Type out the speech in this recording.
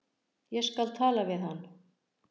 Ég skal tala við hann.